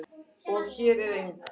Hér er eng